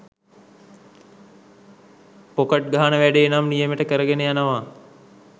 Pocket ගහන වැඩේ නම් නියමෙට කරගෙන යනව.